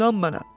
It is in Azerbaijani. İnan mənə.